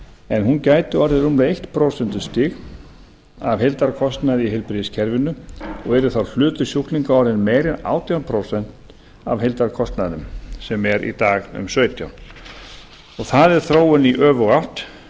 en hún gæti orðið rúmlega eitt prósent af heildarkostnaði í heilbrigðiskerfinu og yrði þá hlutur sjúklinga orðinn meiri en átján prósent af heildarkostnaðinum sem er í dag um sautján prósent það er þróun í öfuga átt